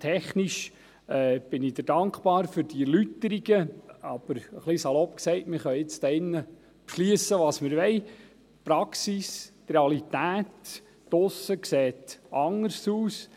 Technisch gesehen bin ich Ihnen dankbar für diese Erläuterungen, aber etwas salopp formuliert können wir hier drin beschliessen, was wir wollen – die Praxis, die Realität da draussen, sieht anders aus.